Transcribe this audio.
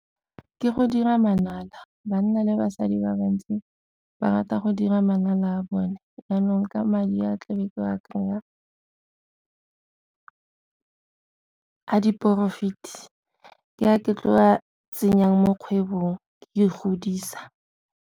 Ke go dira manala, banna le basadi ba bantsi ba rata go dira manala a bone, jaanong ka madi a tla be ke wa kry-a a di-profit-e ke a ke tlo a tsenyang mo kgwebong ke e godisa.